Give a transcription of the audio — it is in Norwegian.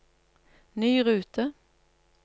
ny rute